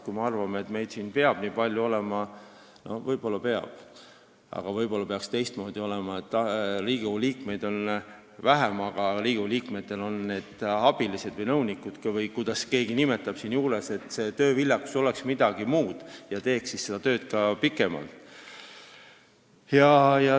Kui me arvame, et meid peab siin nii palju olema, siis võib-olla peabki, aga võib-olla peaks olema teistmoodi, et Riigikogu liikmeid oleks vähem, aga neil oleksid abilised või nõunikud või kuidas keegi neid nimetab, et tööviljakus oleks midagi muud ja seda tööd tehtaks ka pikemalt.